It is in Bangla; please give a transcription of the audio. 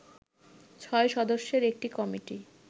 ৬ সদস্যের একটি কমিটি